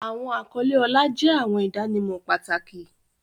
Awọn akọle ọlá jẹ awọn idanimọ pataki.